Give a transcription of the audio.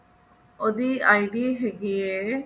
ਉਹਦੀ ID ਹੈਗੀ ਹੈ